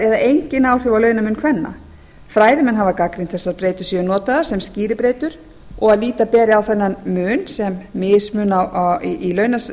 engin áhrif á launamun kvenna fræðimenn hafa gagnrýnt að þessar breytur séu notaðar sem skýribreytur og að líta beri á þennan mun sem mismun í